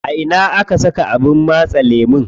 A ina aka saka abin matse lemu?